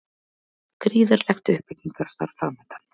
Gríðarlegt uppbyggingarstarf framundan